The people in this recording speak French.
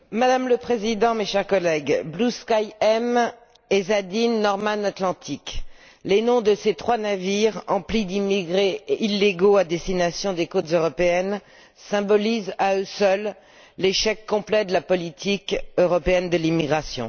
Madame le Président, chers collègues, Blue Sky M, Ezadeen, Norman Atlantic les noms de ces trois navires emplis d'immigrés illégaux à destination des côtes européennes symbolisent à eux seuls l'échec complet de la politique européenne de l'immigration.